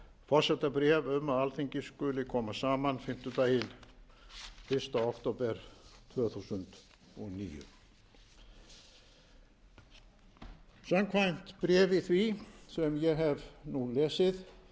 forsetabréf um að alþingi skuli koma saman fimmtudaginn fyrsta október tvö þúsund og níu samkvæmt bréfi því sem ég nú hef